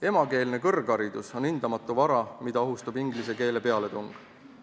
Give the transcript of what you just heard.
Emakeelne kõrgharidus on hindamatu vara, mida ohustab inglise keele pealetung.